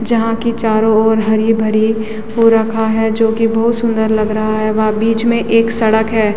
जहाँ की चारो ओर हरी-भरी हो रखा है जो की बोहोत सुन्दर लग रहा है वहाँ बीच में एक सड़क है।